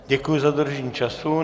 Děkuji za dodržení času.